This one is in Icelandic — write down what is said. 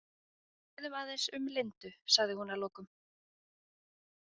Ræðum aðeins um Lindu, sagði hún að lokum.